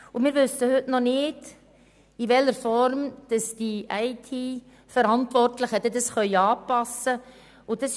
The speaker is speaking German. Heute wissen wir noch nicht, in welcher Form die IT-Verantwortlichen die Anpassungen vornehmen können.